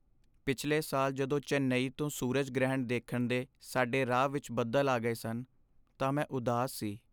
ਪਿਛਲੇ ਸਾਲ ਜਦੋਂ ਚੇਨਈ ਤੋਂ ਸੂਰਜ ਗ੍ਰਹਿਣ ਦੇਖਣ ਦੇ ਸਾਡੇ ਰਾਹ ਵਿੱਚ ਬੱਦਲ ਆ ਗਏ ਸਨ, ਤਾਂ ਮੈਂ ਉਦਾਸ ਸੀ।